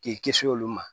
K'i kisi olu ma